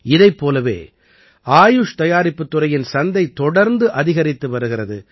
இதைப் போலவே ஆயுஷ் தயாரிப்புத் துறையின் சந்தை தொடர்ந்து அதிகரித்து வருகிறது